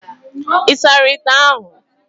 Ị sara ite ahụ?